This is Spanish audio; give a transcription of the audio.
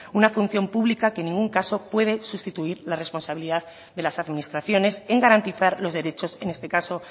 una función pública que en ningún caso puede sustituir la responsabilidad de las administraciones en garantizar los derechos en este caso